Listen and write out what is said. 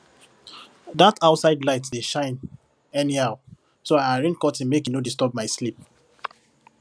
that outside light dey shine anyhow so i arrange curtain make e no disturb my sleep